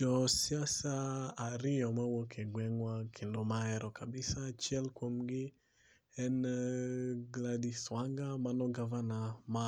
Jo siasa ariyo mawuok e gwengwa kendo mahero kabisa achiel kuom gi en Gladys Wanga mano gavana ma